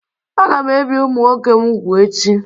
Aga m ebi ụmụ nwoke m úgwù echi